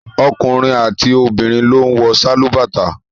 Ọkùnrin àti obìnrin ló ń wọ sálúbàtà